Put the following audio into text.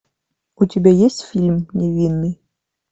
у тебя есть фильм невинный